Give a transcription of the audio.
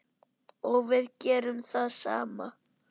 Og við gerum það sama.